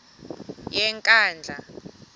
yenkandla